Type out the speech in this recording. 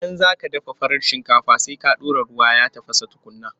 Idan za ka dafa farar shinkafa, sai ka ɗora ruwa ya tafasa tukunna.